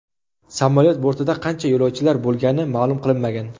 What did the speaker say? Samolyot bortida qancha yo‘lovchilar bo‘lgani ma’lum qilinmagan.